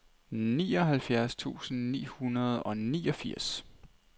nioghalvfjerds tusind ni hundrede og niogfirs